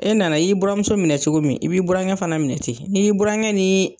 E nana i y'i buranmuso minɛ cogo min i b'i burankɛ fana minɛ ten n'i y'i burankɛ nii